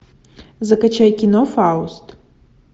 закачай кино фауст